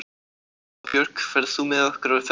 Hafbjörg, ferð þú með okkur á föstudaginn?